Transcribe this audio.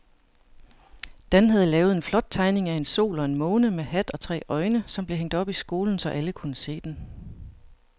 Dan havde lavet en flot tegning af en sol og en måne med hat og tre øjne, som blev hængt op i skolen, så alle kunne se den.